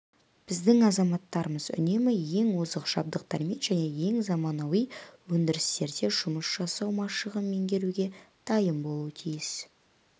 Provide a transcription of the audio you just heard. біздің азаматтарымыз үнемі ең озық жабдықтармен және ең заманауи өндірістерде жұмыс жасау машығын меңгеруге дайын болуға тиіс